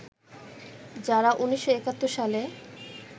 যারা ১৯৭১ সালে